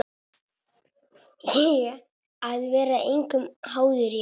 Að vera engum háður, já.